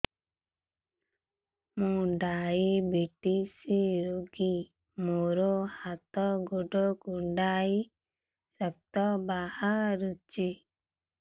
ମୁ ଡାଏବେଟିସ ରୋଗୀ ମୋର ହାତ ଗୋଡ଼ କୁଣ୍ଡାଇ ରକ୍ତ ବାହାରୁଚି